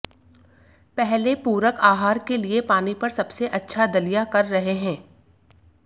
पहले पूरक आहार के लिए पानी पर सबसे अच्छा दलिया कर रहे हैं